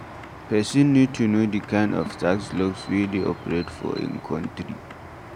Person need to know di kind of tax laws wey dey operate for im country